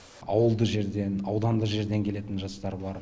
ауылды жерден аудандық жерден келетін жастар бар